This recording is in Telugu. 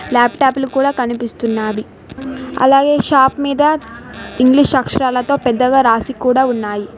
లాప్టాప్ లు కూడా కనిపిస్తున్నాది అలాగే షాప్ మీద ఇంగ్లీష్ అక్షరాలతో పెద్దగా రాసి కూడా ఉన్నాది.